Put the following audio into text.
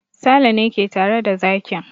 Sale ne ke tare da zakin.